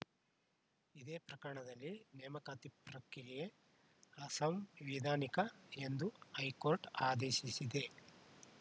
ಇದೇ ಪ್ರಕರಣದಲ್ಲಿ ನೇಮಕಾತಿ ಪ್ರಕ್ರಿಯೆ ಅಸಂವಿಧಾನಿಕ ಎಂದು ಹೈಕೋರ್ಟ್‌ ಆದೇಶಿಸಿದೆ